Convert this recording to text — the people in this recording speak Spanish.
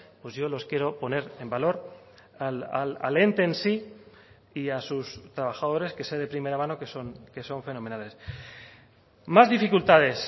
pues yo los quiero poner en valor al ente en sí y a sus trabajadores que sé de primera mano que son fenomenales más dificultades